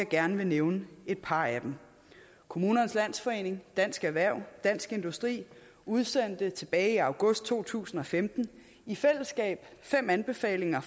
gerne nævne et par af dem kommunernes landsforening dansk erhverv og dansk industri udsendte tilbage i august to tusind og femten i fællesskab fem anbefalinger